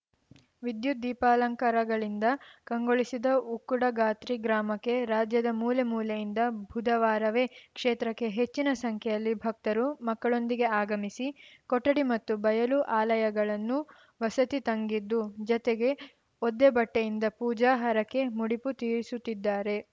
ವಿದ್ಯುತ್‌ ದೀಪಾಲಂಕಾರಗಳಿಂದ ಕಂಗೊಳಿಸಿದ ಉಕ್ಕುಡಗಾತ್ರಿ ಗ್ರಾಮಕ್ಕೆ ರಾಜ್ಯದ ಮೂಲೆ ಮೂಲೆಯಿಂದ ಬುಧವಾರವೇ ಕ್ಷೇತ್ರಕ್ಕೆ ಹೆಚ್ಚಿನ ಸಂಖ್ಯೆಯಲ್ಲಿ ಭಕ್ತರು ಮಕ್ಕಳೊಂದಿಗೆ ಆಗಮಿಸಿ ಕೊಠಡಿ ಮತ್ತು ಬಯಲು ಆಲಯಗಳನ್ನು ವಸತಿ ತಂಗಿದ್ದು ಜತೆಗೆ ಒದ್ದೆ ಬಟ್ಟೆಯಿಂದ ಪೂಜಾ ಹರಕೆ ಮುಡಿಪು ತೀರಿಸುತ್ತಿದ್ದಾರೆ